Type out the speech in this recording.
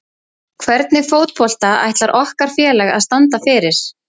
Hvernig fótbolta ætlar okkar félag að standa fyrir?